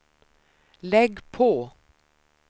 lägg på